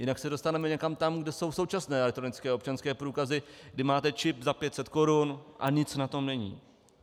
Jinak se dostaneme někam tam, kde jsou současné elektronické občanské průkazy, kdy máte čip za 500 korun a nic na tom není.